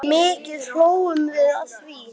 Mikið hlógum við að því.